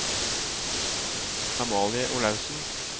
Amalie Olaussen